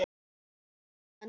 Sjáumst á morgun, elskan.